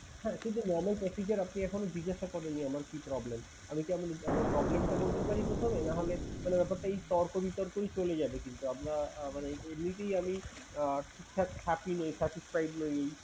হ্যাঁ কিন্তু normal procedure আপনি এখনো জিজ্ঞাসা করেননি আমার কি problem? আমি কি আমার problem টা বলতে পারি প্রথমে? নাহলে মানে ব্যাপারটাই তর্ক বিতর্কই চলে যাবে কিন্তু আমরা আহ মানে এমনিতেই আমি আহ ঠিকঠাক থাকি নেই, satisfied নই